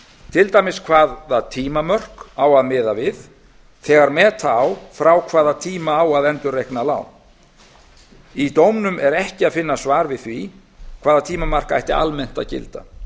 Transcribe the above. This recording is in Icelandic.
til dæmis hvaða tímamörk á að miða við þegar meta á frá hvaða tíma á að endurreikna lán í dómnum er ekki að finna svar við því hvaða tímamark ætti almennt að gilda